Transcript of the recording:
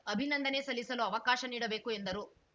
ಅಭಿನಂದನೆ ಸಲ್ಲಿಸಲು ಅವಕಾಶ ನೀಡಬೇಕು ಎಂದರು